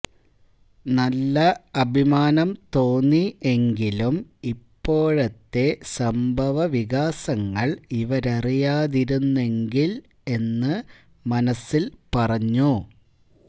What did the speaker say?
നല്ല അഭിമാനം തോന്നി എങ്കിലും ഇപ്പോഴത്തെ സംഭവ വികാസങ്ങൾ ഇവരറിയാതിരുന്നെങ്കിൽ എന്ന് മനസ്സിൽ പറഞ്ഞു